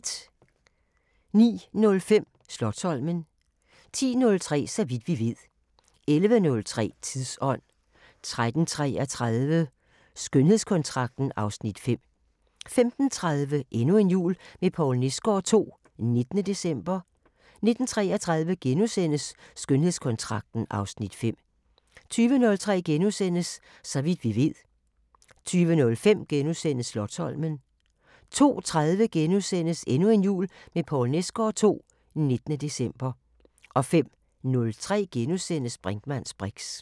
09:05: Slotsholmen 10:03: Så vidt vi ved 11:03: Tidsånd 13:33: Skønhedskontrakten (Afs. 5) 15:30: Endnu en jul med Poul Nesgaard II – 19. december 19:33: Skønhedskontrakten (Afs. 5)* 20:03: Så vidt vi ved * 00:05: Slotsholmen * 02:30: Endnu en jul med Poul Nesgaard II – 19. december * 05:03: Brinkmanns briks *